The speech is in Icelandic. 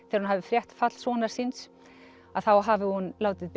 þegar hún hafi frétt fall sonar síns að þá hafi hún látið